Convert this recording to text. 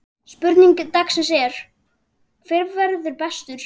Spurning dagsins er: Hver verður bestur?